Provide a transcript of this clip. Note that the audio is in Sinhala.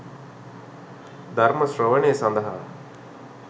ධර්ම ශ්‍රවණය සඳහා